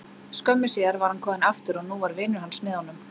Skömmu síðar var hann kominn aftur og nú var vinur hans með honum.